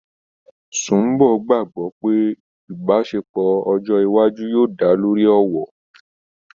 Sùḿbọ̀ gbàgbọ́ pé ìbáṣepọ̀ ọjọ́ iwájú yóò dá lórí ọ̀wọ̀